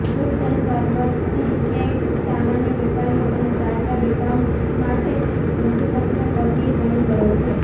goods and services tax સામાન્ય વેપારીઓ અને ચાર્ટર્ડ એકાઉન્ટન્ટ્સ માટે મુસીબતનો પર્યાય બની ગયો છે